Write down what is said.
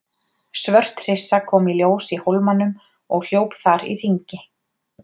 Svört hryssa kom í ljós í hólmanum og hljóp þar í hringi.